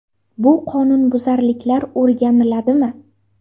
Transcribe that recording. Bu qonunbuzarliklar o‘rganiladimi?